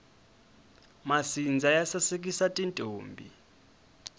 masindza ya sasekisa tintombhi